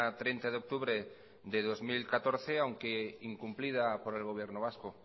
treinta de octubre de dos mil catorce aunque incumplida por el gobierno vasco